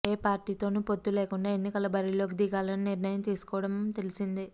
ఏ పార్టీతోనూ పొత్తు లేకుండా ఎన్నికల బరిలోకి దిగాలని నిర్ణయం తీసుకోవటం తెలిసిందే